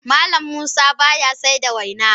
Mallam Musa baya saida waina.